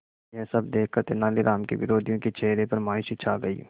यह सब देखकर तेनालीराम के विरोधियों के चेहरे पर मायूसी छा गई